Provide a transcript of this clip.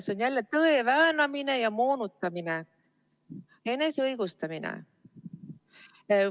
See on jälle tõe väänamine ja moonutamine, enese õigustamine.